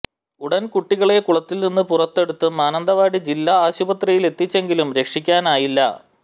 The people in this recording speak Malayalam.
ഉടന് കുട്ടികളെ കുളത്തില്നിന്ന് പുറത്തെടുത്ത് മാനന്തവാടി ജില്ലാ ആശുപത്രിയില് എത്തിച്ചെങ്കിലും രക്ഷിക്കാനായില്ല